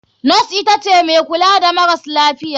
Nos itace mai kula da maras lafiya.